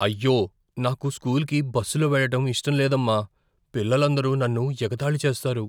అయ్యో! నాకు స్కూల్కి బస్సులో వెళ్ళటం ఇష్టం లేదమ్మా. పిల్లలందరూ నన్ను ఎగతాళి చేస్తారు.